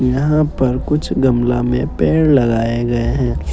यहां पर कुछ गमला में पेड़ लगाए गए हैं।